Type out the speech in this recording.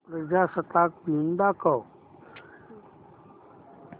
प्रजासत्ताक दिन दाखव